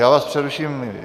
Já vás přeruším.